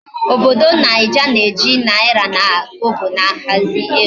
Obodo naija na eji naira na Kobo ahazi ego